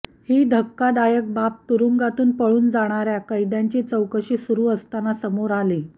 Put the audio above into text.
ही धक्कादायक बाब तुरूंगातून पळून जाणाऱ्या कैद्यांची चौकशी सुरू असताना समोर आली